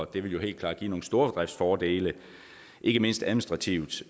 det ville jo helt klart give nogle stordriftsfordele ikke mindst administrativt